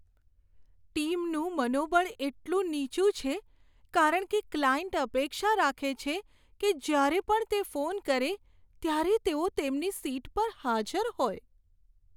ટીમનું મનોબળ એટલું નીચું છે કારણ કે ક્લાયન્ટ અપેક્ષા રાખે છે કે જ્યારે પણ તે ફોન કરે ત્યારે તેઓ તેમની સીટ પર હાજર હોય.